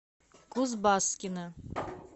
кузбасскино